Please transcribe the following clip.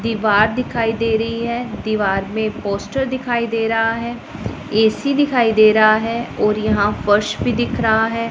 दीवार दिखाई दे रही है दीवार में पोस्टर दिखाई दे रहा है ए_सी दिखाई दे रहा है और यहां फर्श भी दिख रहा है।